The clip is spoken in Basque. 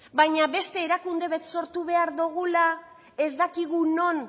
baina beste erakunde bat sortu behar dugula ez dakigun non